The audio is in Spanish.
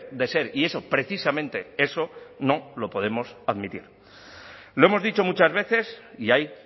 de ser y eso precisamente eso no lo podemos admitir lo hemos dicho muchas veces y ahí